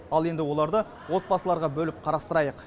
ал енді оларды отбасыларға бөліп қарастырайық